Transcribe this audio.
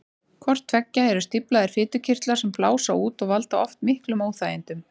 Hvort tveggja eru stíflaðir fitukirtlar sem blása út og valda oft miklum óþægindum.